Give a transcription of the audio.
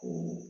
O